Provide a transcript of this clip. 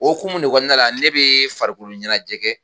O hukumu de kɔnɔna la ne bɛ farikolo ɲɛnajɛ kɛ